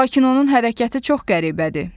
Lakin onun hərəkəti çox qəribədir.